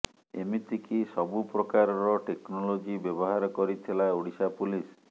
ଏମିତିକି ସବୁ ପ୍ରକାରର ଟେକ୍ନୋଲୋଜି ବ୍ୟବହାର କରିଥିଲା ଓଡ଼ିଶା ପୁଲିସ୍